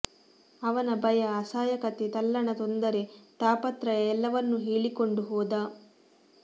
ಅವನ ಭಯ ಅಸಹಾಯಕತೆ ತಲ್ಲಣ ತೊಂದರೆ ತಾಪತ್ರಯ ಎಲ್ಲವನ್ನೂ ಹೇಳಿಕೊಂಡು ಹೋದ